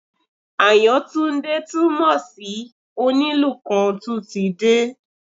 Àyàntúndé túmọ̀ sí Onílù kan tún ti dé